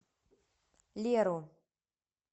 леру